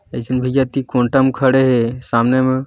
इकझन भैया एति कोन्टा में खड़े हे सामने म--